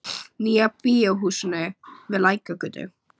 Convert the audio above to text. Nýja bíó húsinu við Lækjargötu.